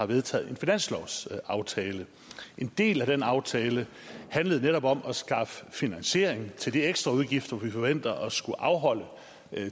vedtog en finanslovsaftale en del af den aftale handlede netop om at skaffe finansiering til de ekstraudgifter som vi forventer at skulle afholde